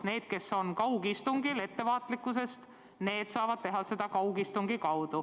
Need, kes on kaugistungil ettevaatlikkusest, saavadki osaleda kaugistungil.